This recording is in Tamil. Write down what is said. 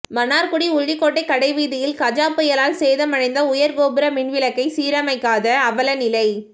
மன்னார்குடி உள்ளிக்கோட்டை கடைவீதியில் கஜா புயலால் சேதமடைந்த உயர்கோபுர மின்விளக்ைக சீரமைக்காத அவல நிலை